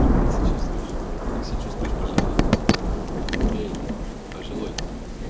нормально сейчас чувствуешь как себя чувствуешь пожилой эй пожилой